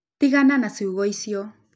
Tigana na ciugo icio